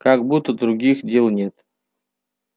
как будто других дел нет